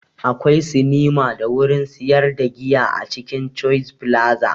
Akwai sinima da wurin sayar da giya a cikin choice flaza